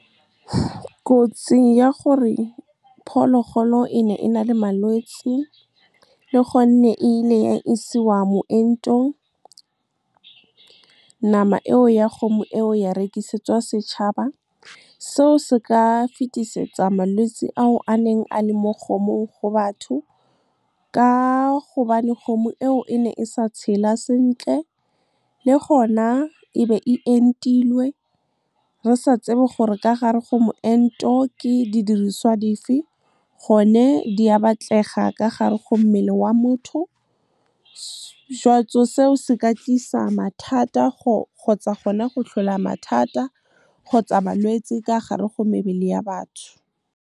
Kotsi ya gore phologolo e ne e na le malwetse, le gonne e ile ya isiwa moentong nama e o ya kgomo, e o ya rekisetsa setšhaba. Seo se ka fetisetsa malwetse a o a neng a le mo kgomong go batho ka gobane kgomo e o e ne e sa tshela sentle, le gona ebe e entilwe re sa tsebe gore ka gare go moento ke di diriswa dife. Gone di a batlega ka gare go mmele wa motho , seo se ka tlisa mathata kgotsa gona go tlhola mathata kgotsa balwetse ka gare go mebele ya batho. Kotsi ya gore phologolo e ne e na le malwetse, le gonne e ile ya isiwa moentong nama e o ya kgomo, e o ya rekisetsa setšhaba. Seo se ka fetisetsa malwetse a o a neng a le mo kgomong go batho ka gobane kgomo e o e ne e sa tshela sentle, le gona ebe e entilwe re sa tsebe gore ka gare go moento ke di diriswa dife. Gone di a batlega ka gare go mmele wa motho , seo se ka tlisa mathata kgotsa gona go tlhola mathata kgotsa balwetse ka gare go mebele ya batho.